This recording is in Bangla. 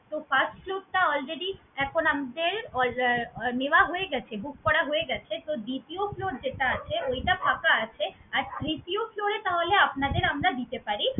তো first floor টা already এখন আমাদের alrea নেওয়া হয়ে গেছে, book করা হয়ে গেছে। তো দ্বিতীয় floor যেটা আছে, ওইটা ফাঁকা আছে। আপনি sure করলে তাহলে আপনাদের আমরা দিতে পারি।